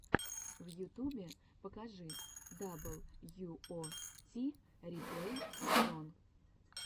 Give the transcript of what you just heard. в ютубе покажи дабл ю о ти реплей зон